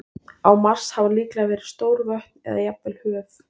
Á Mars hafa líklega verið stór vötn eða jafnvel höf.